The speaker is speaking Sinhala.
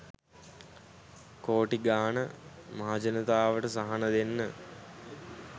කෝටි ගාන මහජනතාවට සහන දෙන්න